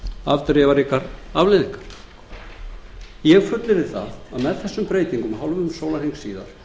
afdrifaríkar afleiðingar ég fullyrði að með þessum breytingum hálfum sólarhring síðar